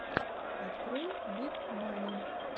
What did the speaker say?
открой биг мани